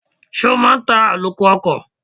Ṣé o máa ń ta àlòkù ọkọ̀?